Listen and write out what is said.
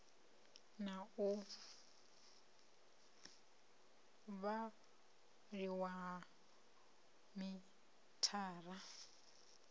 na u vhaliwa ha mithara